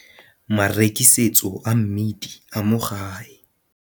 Marekisetso a mmidi a mo gae.